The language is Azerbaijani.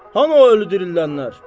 Hanı o öldürənlər?